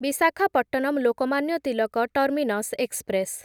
Visakhapatnam Lokmanya Tilak terminus express